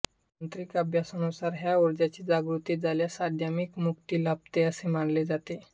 तांत्रिक अभ्यासानुसार ह्या ऊर्जेची जागृती झाल्यास अध्यात्मिक मुक्ती लाभते असे मानले जाते